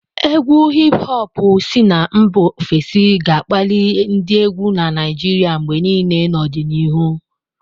Égwù Hip-hopu si na mba ofesi ga-akpali ndị égwù na Naijiria mgbe niile n'ọdịnihu.